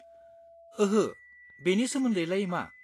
ओहो, बेनि सोमोन्दैलाय मा?